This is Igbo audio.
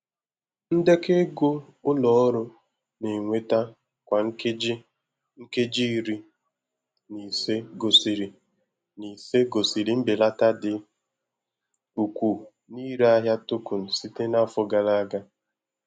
ndekọ ego ụlọ ọrụ na-enweta kwa nkeji nkeji iri na ise gosiri na ise gosiri mbelata dị ukwuu n'ịre ahịa token site n'afọ gara aga.